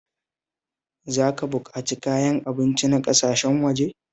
Za ka buƙaci kayan abinci na ƙasashen waje.